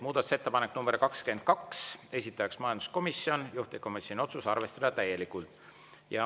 Muudatusettepanek nr 22, esitaja majanduskomisjon, juhtivkomisjoni otsus: arvestada täielikult.